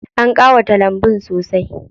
An ƙawata lambun sosai.